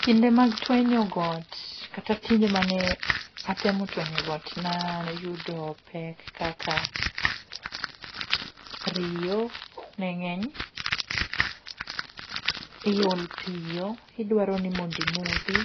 Kinde mag twenyo got kata kinde mane atemo twenyo got nayudo pek kaka riyo ne ng'eny, iol piyo idwaro ni mondi modhi.